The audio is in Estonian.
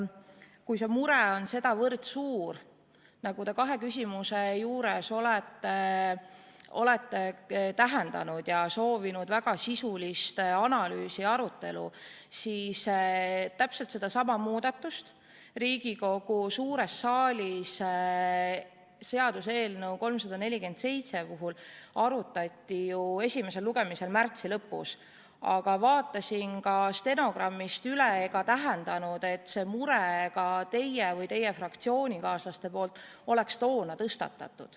Kui see mure on sedavõrd suur, nagu te kahes küsimuses olete tähendanud, soovides väga sisulist analüüsi ja arutelu, siis täpselt sedasama muudatust arutati ju Riigikogu suures saalis seaduseelnõu 347 esimesel lugemisel märtsi lõpus, aga vaatasin stenogrammist üle ega täheldanud, et teie või teie fraktsioonikaaslased oleks selle mure toona tõstatanud.